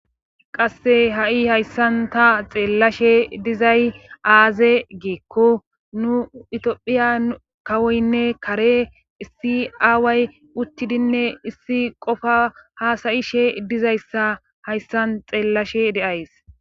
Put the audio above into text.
qasse ha7i hayssan ta xeellashe dizay aaze giikko nu itophiya kawoynne kare issi aaway uttidinne issi qofa haasayishe dizayssa hayssan xeellashe de'ays